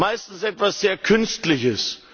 meistens etwas sehr Künstliches.